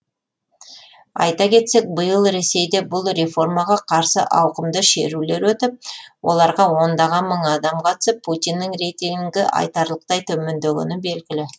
айта кетсек биыл ресейде бұл реформаға қарсы ауқымды шерулер өтіп оларға ондаған мың адам қатысып путиннің рейтингі айтарлықтай төмендегені белгілі